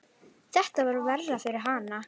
Þetta var verra fyrir hana.